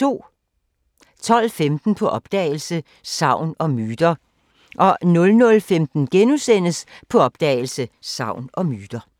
12:15: På opdagelse – Sagn og Myter 00:15: På opdagelse – Sagn og Myter *